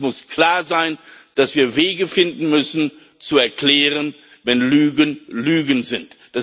Und es muss klar sein, dass wir Wege finden müssen zu erklären, wenn Lügen Lügen sind.